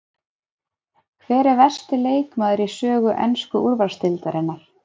Hver er versti leikmaður í sögu ensku úrvalsdeildarinnar?